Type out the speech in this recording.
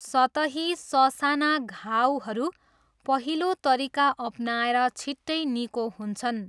सतही ससाना घाउहरू पहिलो तरिका अपनाएर छिट्टै निको हुन्छन्।